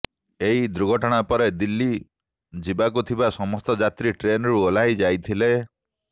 ଏହି ଦୁର୍ଘଟଣା ପରେ ଦିଲ୍ଲୀ ଯିବାକୁଥିବା ସମସ୍ତ ଯାତ୍ରୀ ଟ୍ରେନରୁ ଓହ୍ଲାଇ ଯାଇଥିଲେ